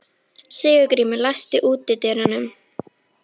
Sigurgrímur, læstu útidyrunum.